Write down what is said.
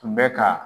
Tun bɛ ka